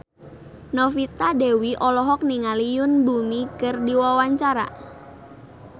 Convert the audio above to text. Novita Dewi olohok ningali Yoon Bomi keur diwawancara